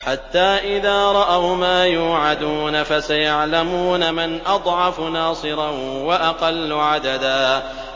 حَتَّىٰ إِذَا رَأَوْا مَا يُوعَدُونَ فَسَيَعْلَمُونَ مَنْ أَضْعَفُ نَاصِرًا وَأَقَلُّ عَدَدًا